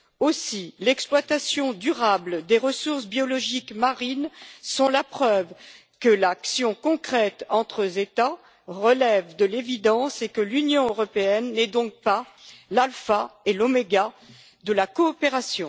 Aussi, l'exploitation durable des ressources biologiques marines sont la preuve que l'action concrète entre États relève de l'évidence et que l'Union européenne n'est donc pas l'alpha et l'oméga de la coopération.